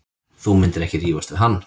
Þú myndir ekki rífast við hann.